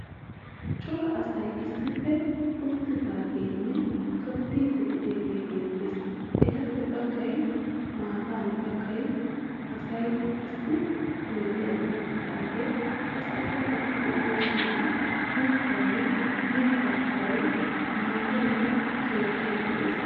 Cora asay issippe uttidaageenne tobbiiddi de'iyage beettees. Etappe baggay maatan bagga asay qassi oyidiyan uttidaage qassikka eti de'iyoosan mittayinne mittaa kuwayi, maatayinne keettayi de'ees.